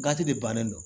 de bannen do